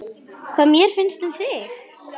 Hvað mér finnst um þig?